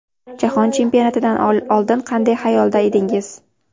Jahon chempionatidan oldin qanday xayolda edingiz?